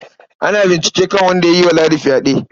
Ana bincike kan wanda ya yi wa Ladi fyaɗe.